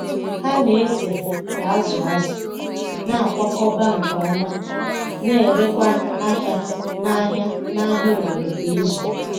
Ha na-ese ka azụ̀ azụ̀, na-akwakọba nke ọma, na-erekwa ahịa n'ahịa n'ahịa obodo kwa izu.